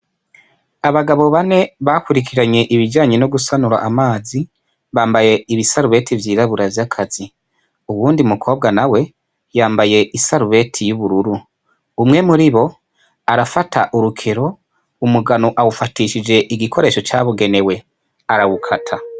Abagabo bane bakwirikiranye ibijanye nogusanura amazi bambaye ibisarubeti vyirabura vyakazi uwundi mukobwa nawe yambaye isarubeti yubururu umwe muribo arafata urukero umugano awufatishije igikoresho cabugenewe arawukata.